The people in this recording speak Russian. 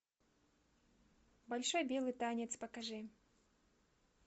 большой белый танец покажи